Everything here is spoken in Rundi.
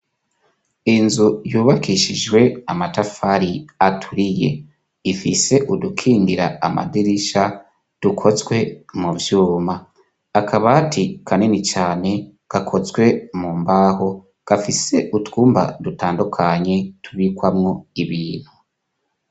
Inzu yubakishijwe amatafari aturiye ifise udukingira amadirisha dukozwe mu vyuma akabati kaneni cane gakozwe mu mbaho gafise utwumba dutandukanye tubikwamwo ibintu.